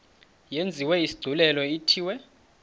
yenziwe isigculelo ithiwe